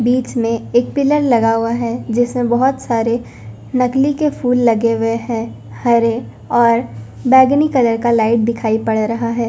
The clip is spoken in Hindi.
बीच में एक पिलर लगा हुआ है जिसमें बहुत सारे नकली के फूल लगे हुए हैं हरे और बैंगनी कलर का लाइट दिखाई पड़ रहा है।